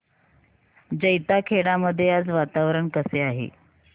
जैताखेडा मध्ये आज वातावरण कसे आहे